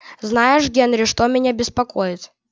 знаешь генри что меня беспокоит